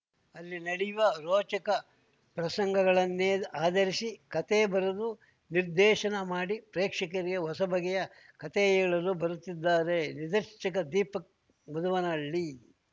ಅಲ್ಲಿ ನಡೆಯುವ ರೋಚಕ ಪ್ರಸಂಗಗಳನ್ನೇ ಆಧರಿಸಿ ಕತೆ ಬರೆದು ನಿರ್ದೇಶನ ಮಾಡಿ ಪ್ರೇಕ್ಷಕರಿಗೆ ಹೊಸ ಬಗೆಯ ಕತೆ ಹೇಳಲು ಬರುತ್ತಿದ್ದಾರೆ ನಿರ್ದೇಶಕ ದೀಪಕ್‌ ಮದುವನಹಳ್ಳಿ